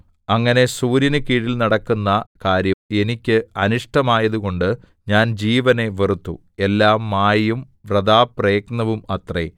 അങ്ങനെ സൂര്യന് കീഴിൽ നടക്കുന്ന കാര്യം എനിക്ക് അനിഷ്ടമായതുകൊണ്ട് ഞാൻ ജീവനെ വെറുത്തു എല്ലാം മായയും വൃഥാപ്രയത്നവും അത്രേ